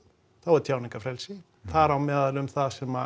þá er tjáningarfrelsi þar á meðal um það sem